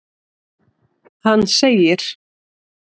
Hann segir:.